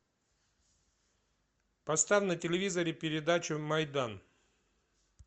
поставь на телевизоре передачу майдан